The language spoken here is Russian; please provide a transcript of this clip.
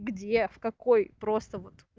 где в какой просто вот